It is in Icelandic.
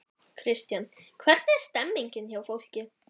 Kristján: Hvernig er stemmningin hjá fólki?